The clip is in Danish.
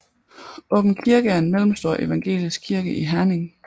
Åbenkirke en mellemstor evangelisk kirke i Herning